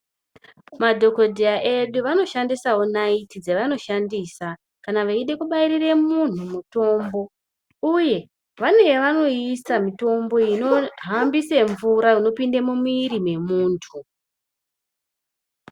Madhogodheya edu, vanoshandisawo naiti dzevanoshandisa kana veide kubairira muntu mutombo uye vane yavanoisa mitombo inohambise mvura inopinde mumwiri wemuntu.